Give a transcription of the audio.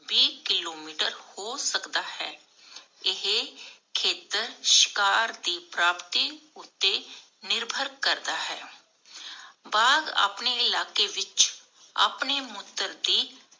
ਵੀਹ ਕਿਲੋਮੀਟਰ ਹੋ ਸਕਦਾ ਹੈ। ਇਹ ਖੇਤਰ ਸ਼ਿਕਾਰ ਦੀ ਪ੍ਰਾਪਤੀ ਉਤੇ ਨਿਰਭਰ ਕਰਦਾ ਹੈ। ਬਾਘ ਆਪਣੇ ਇਲਾਕੇ ਵਿਚ ਆਪਣੇ ਮੂਤਰ ਦੀ